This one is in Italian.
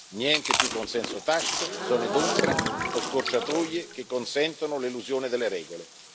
Niente più consenso tacito, zone d'ombra o scorciatoie che consentano l'elusione delle regole.